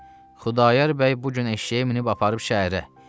Xudayar bəy bu gün eşşəyi minib aparıb şəhərə.